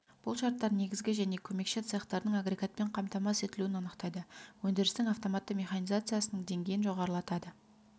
бұл шарттар негізгі және көмекші цехтардың агрегатпен қамтамасыз етілуін анықтайды өндірістің автоматты механизациясының деңгейін жоғарылатады